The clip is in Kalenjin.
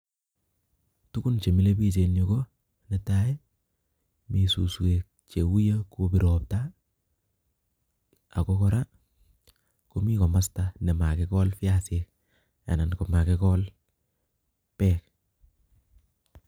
Tukun chemilepich eng yu netai mi suswek cheuyo kobir ropta ako kora komi kimasto nimekikol biasik anan komakikol bek